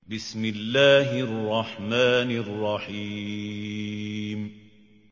بِسْمِ اللَّهِ الرَّحْمَٰنِ الرَّحِيمِ